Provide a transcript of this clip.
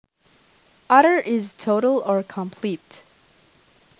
Utter is total or complete